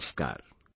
Namaskar